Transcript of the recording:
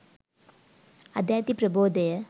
අද ඇති ප්‍රබෝධය